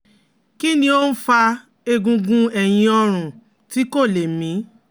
kin ni oun fa egungun eyin orun ti ko le mi?